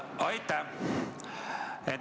Aitäh!